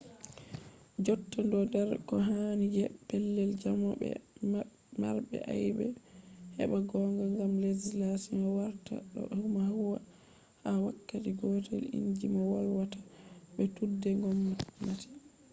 jotta ɗo der ko hani je pellel jamo be marɓe aibe heɓa gonga gam legislation warta ɗo huwwa ha wakkati gotel inji mo volwata be tuɗe gomnati